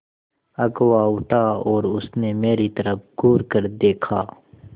अगुआ उठा और उसने मेरी तरफ़ घूरकर देखा